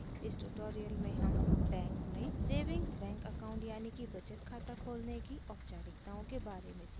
इस ट्यूटोरियल में हम बैंक में सेविंग्स बैंक अकाउंट यानि कि बचत खाता खोलने की औपचारिकताओं के बारे में सीखेंगे